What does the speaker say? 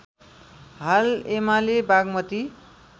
हाल एमाले बागमती